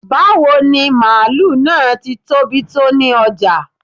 Bawo ni maálù naá tí tóbi tó ni ojá?